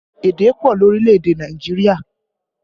Èdè pọ ni orílẹ̀ èdè Nàìjíríà